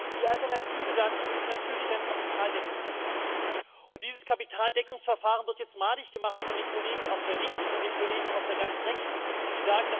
Die Alternative dazu ist natürlich ein Kapitaldeckungsverfahren, und dieses Kapitaldeckungsverfahren wird jetzt von den Kollegen auf der Linken und den Kollegen auf der ganz Rechten madig gemacht.